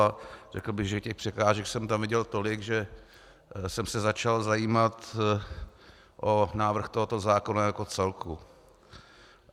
A řekl bych, že těch překážek jsem tam viděl tolik, že jsem se začal zajímat o návrh tohoto zákona jako celku.